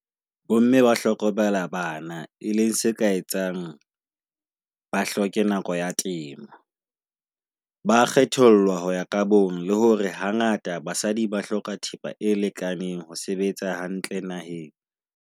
Bomme ba hlokomela bana e leng se ka etsang ba hloke nako ya temo. Ba kgethollwe ho ya kabong, le hore hangata basadi ba hloka thepa e lekaneng ho sebetsa hantle naheng.